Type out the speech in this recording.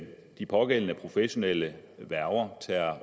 de pågældende professionelle værger